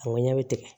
A ŋɔni ɲɛ bɛ tigɛ